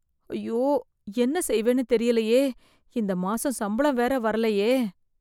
ஐயோ! என்ன செய்வேன்னு தெரியலையே இந்த மாசம் சம்பளம் வேற வரலையே!